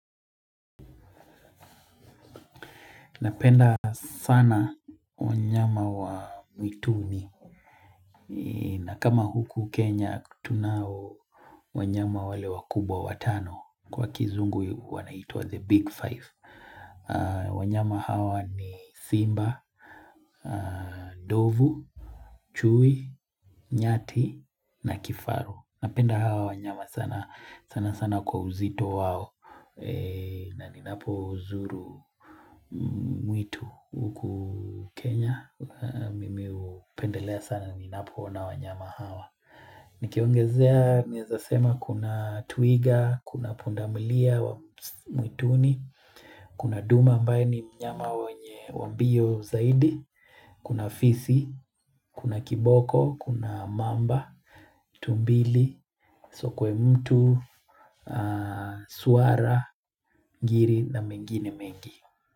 Napenda sana wanyama wa mwituni. Na kama huku Kenya, tunao wanyama wale wakubwa watano. Kwa kizungu, wanaitwa the big five. Wanyama hawa ni Simba, Ndovu, Chui, Nyati, na Kifaru. Napenda hawa wanyama sana sana sana kwa uzito wao. Na ninapozuru mwitu huku Kenya. Mimi hupendelea sana ninapoona wanyama hawa. Nikiongezea naeza sema kuna twiga, kuna pundamilia wa mwituni, kuna duma ambaye ni mnyama wenye wa mbio zaidi, kuna fisi, kuna kiboko, kuna mamba, tumbili, sokwe mtu, swara, ngiri na mengine mengi.